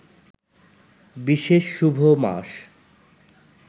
বিশেষ শুভ মাস